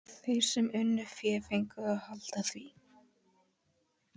Þeir sem unnu fé fengu að halda því.